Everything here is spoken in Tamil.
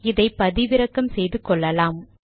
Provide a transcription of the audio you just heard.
இதை பதிவிறக்கம் செய்து கொள்ளலாம்